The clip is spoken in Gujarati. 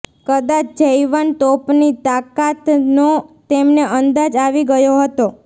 કદાચ જૈવન તોપની તાકાતનો તેમને અંદાજ આવી ગયો હતો